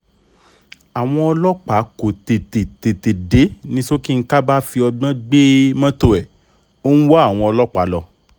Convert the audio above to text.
àwọn ọlọ́pàá kò tètè tètè dé ni sọ́kínkà bá fi ọgbọ́n gbé mọ́tò ẹ̀ ó ń wá àwọn ọlọ́pàá lọ